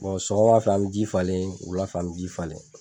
sɔgɔma fɛ, an bi ji falen wula fɛ an bi ji falen.